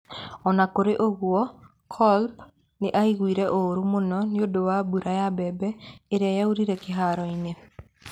O na kũrĩ ũguo, Klopp nĩ aiguire ũũru mũno nĩ ũndũ wa mbura ya mbembe ĩrĩa yaiyũire kĩhaaro-inĩ.